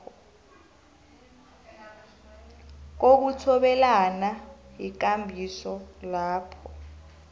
kokuthobelana yikambiso lapho